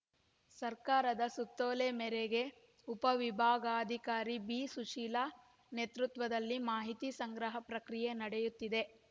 ಸರ್ಕಾರದ ಸುತ್ತೋಲೆ ಮೇರೆಗೆ ಉಪ ವಿಭಾಗಾಧಿಕಾರಿ ಬಿಸುಶೀಲಾ ನೇತೃತ್ವದಲ್ಲಿ ಮಾಹಿತಿ ಸಂಗ್ರಹ ಪ್ರಕ್ರಿಯೆ ನಡೆಯುತ್ತಿದೆ